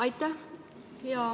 Aitäh!